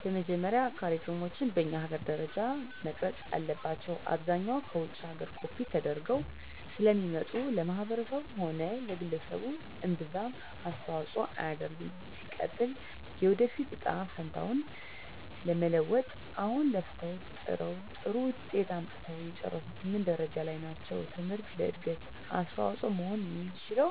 በመጀመሪያ ካሪክለሞች በኛ ሀገር ደረጃ መቀረፅ አለባቸው። አብዛኛው ከውጭ ሀገር ኮፒ ተደርገው ስለሚመጡ ለማህበረሰቡም ሆነ ለግለሰቡ እምብዛም አስተዋፅሆ አያደርግም። ሲቀጥል የወደፊት እጣ ፈንታውን ለመለወጥ አሁን ለፍተው ጥረው ጥሩ ውጤት አምጥተው የጨረሱት ምን ደረጃ ላይ ናቸው ትምህርት ለእድገት አስተዋፅሆ መሆን የሚችለው